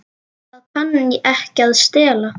Það kann ekki að stela.